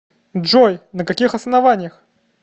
джой на каких основаниях